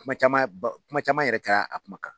Kuma caman ba kuma caman yɛrɛ kɛ la a kuma kan.